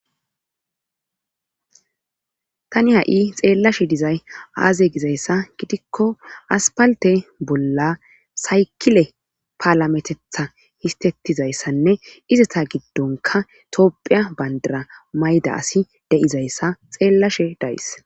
tani ha7i xeellashe dizay aaze gizayssa gidikko aspalte bolla saykile paalametetha histettizayssanne izata giddonka toophiya bayndara mayda asi deizayssa xeellashe dayys